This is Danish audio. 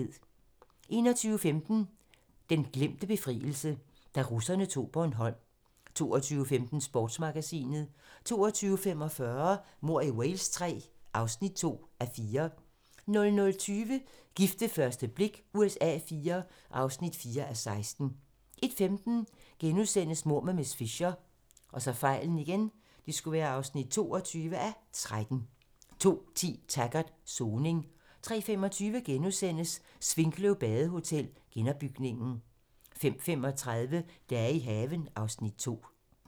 21:15: Den glemte befrielse - Da russerne tog Bornholm 22:15: Sportsmagasinet 22:45: Mord i Wales III (2:4) 00:20: Gift ved første blik USA IV (4:16) 01:15: Mord med miss Fisher (22:13)* 02:10: Taggart: Soning 03:25: Svinkløv Badehotel - genopbygningen * 05:35: Dage i haven (Afs. 2)